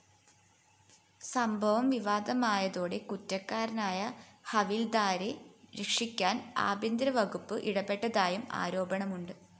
സംഭവം വിവാദമായതോടെ കുറ്റക്കാരനായ ഹവില്‍ദാരെ രക്ഷിക്കാന്‍ ആഭ്യന്തരവകുപ്പ് ഇടപെട്ടതായും ആരോപണമുണ്ട്